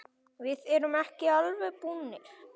Við erum ekki alveg búnir.